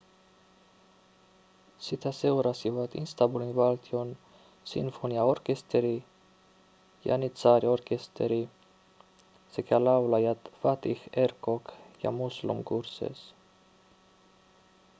sitä seurasivat istanbulin valtion sinfoniaorkesteri janitsaariorkesteri sekä laulajat fatih erkoç ja müslüm gürses